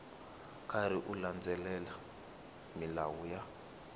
karhi u landzelela milawu ya